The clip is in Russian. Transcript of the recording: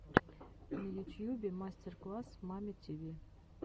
на ютьюбе мастер класс мамми тиви